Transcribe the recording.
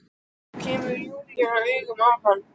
Þá kemur Júlía auga á hana.